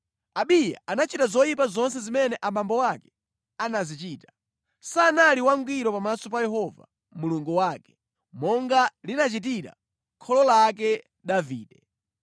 Abiya anachita zoyipa zonse zimene abambo ake anazichita. Sanali wangwiro pamaso pa Yehova Mulungu wake, monga linachitira kholo lake Davide.